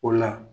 O la